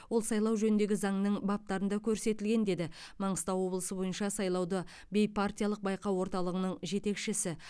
ол сайлау жөніндегі заңның баптарында көрсетілген деді маңғыстау облысы бойынша сайлауды бейпартиялық байқау орталығының жетекшісі